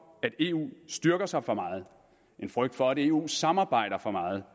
at eu styrker sig for meget en frygt for at eu samarbejder for meget